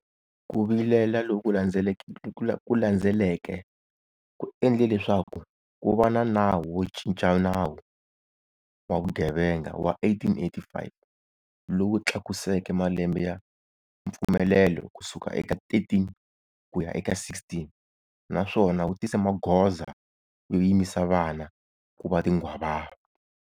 Ku vilela loku landzeleke ku endle leswaku ku va na Nawu wo Cinca Nawu wa Vugevenga wa 1885 lowu tlakuseke malembe ya mpfumelelo ku suka eka 13 ku ya eka 16 naswona wu tise magoza yo yimisa vana ku va tinghwavava.